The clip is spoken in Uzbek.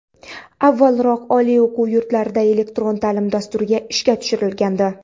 Avvalroq oliy o‘quv yurtlarida elektron ta’lim dasturi ishga tushirilgandi.